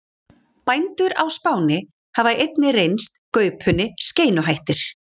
Bændur á Spáni hafa einnig reynst gaupunni skeinuhættir.